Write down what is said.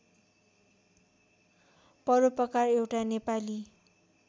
परोपकार एउटा नेपाली